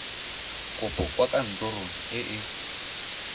kopo kwa kantorong e e